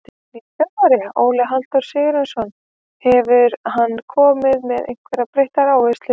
Nýr þjálfari, Óli Halldór Sigurjónsson, hefur hann komið með einhverjar breyttar áherslur?